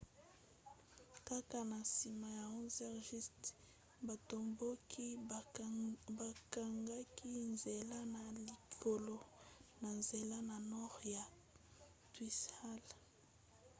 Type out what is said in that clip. kaka na nsima ya 11:00 batomboki bakangaki nzela na likalo na nzela ya nord ya whitehall